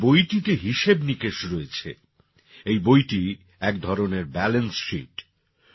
এই বইটিতে হিসেব নিকেষ রয়েছে এই বইটি একধরণের ব্যালান্স Sheet